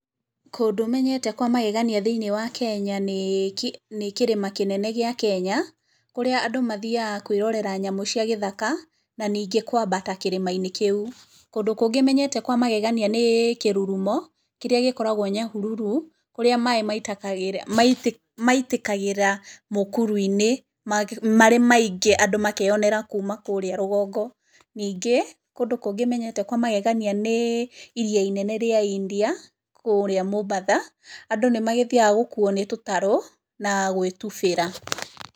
Kũndũ menyete kwa magegania thĩiniĩ wa Kenya nĩ, kĩrĩma kĩnene gĩa Kenya, kũrĩa andũ mathiaga kwĩrorera nyamũ cia gĩthaka, na ningĩ kũambata kĩrĩma-inĩ kĩu. Kũndũ kũngĩ menyete kwa magegania nĩ, kĩrurumo, kĩrĩa gĩkoragwo Nyahururu kũrĩa maaĩ maitĩkagĩra mũkuru-inĩ marĩ maingĩ andũ makeyonera marĩ kũũrĩa rũgongo, ningĩ kũndũ kũngĩ menyete kwa magegania nĩ iria inene rĩa India, kũũrĩa Mombasa, andũ nĩ magĩthiaga gũkuuo nĩ tũtarũ na gwĩtubĩra.